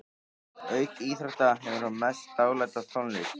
Auk íþrótta hefur hún mest dálæti á tónlist.